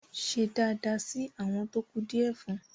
ṣe dáadáa sí “ awọn tó kù díẹ̀ fún ”!